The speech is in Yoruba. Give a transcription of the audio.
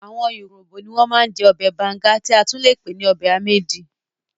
Àwọn urhobo ní wọ́n ma ń jẹ́ ọbẹ̀ banga tí a tún le pè ní ọbẹ̀ amiedi